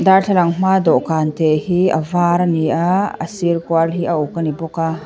dârthlalang hmaa dawhkân te hi a vâr a ni a a sîr kual hi a uk a ni bawk a.